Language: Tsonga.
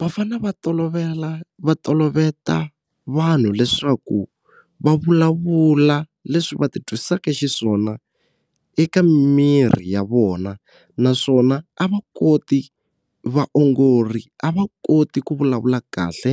Va fanele va tolovela va toloveta vanhu leswaku va vulavula leswi va ti twisaka xiswona eka mimiri ya vona naswona a va koti vaongori a va koti ku vulavula kahle